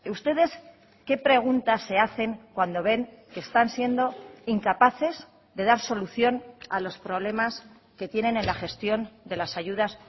ustedes qué pregunta se hacen cuando ven que están siendo incapaces de dar solución a los problemas que tienen en la gestión de las ayudas